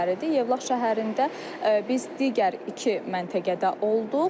Yevlax şəhərində biz digər iki məntəqədə olduq.